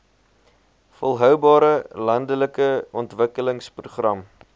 volhoubare landelike ontwikkelingsprogram